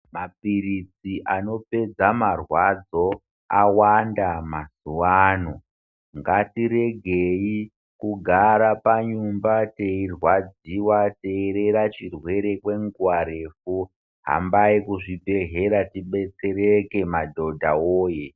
Mapiritsi anopedza marwadzo awanda mazuva ano ngatiregei kugara panyumba teirwadziwa teirera chirwere kwenguva refu. Hambai kuzvibhedhlera tidetsereke madhodha woye.